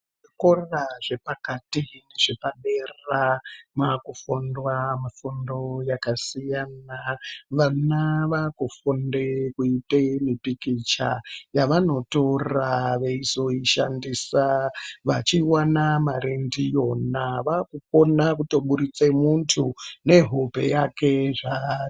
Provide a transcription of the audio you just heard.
Zvikora zvepakati nezvepadera maakufundwa mifundo yakasiyana, vana vaakufunde kuite mipikicha yavanotora veizoishandisa vachiwane mari ndiyona vaakukona kutobudise muntu nehope yake zvaari.